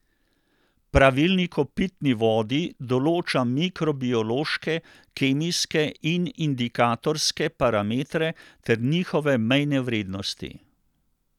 Pravilnik o pitni vodi določa mikrobiološke, kemijske in indikatorske parametre ter njihove mejne vrednosti.